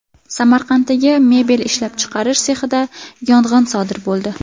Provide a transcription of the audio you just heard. Samarqanddagi mebel ishlab chiqarish sexida yong‘in sodir bo‘ldi.